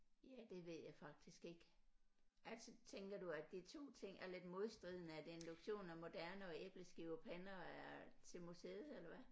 Ja det ved jeg faktisk ikke altså tænker du at de 2 ting er lidt modstridende at induktion er moderne og æbleskivepander er til museet eller hvad